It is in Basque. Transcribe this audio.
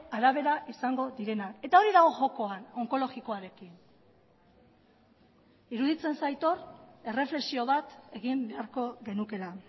arabera izango direnak eta hori dago jokoan onkologikoarekin iruditzen zait hor erreflexio bat egin beharko genukeela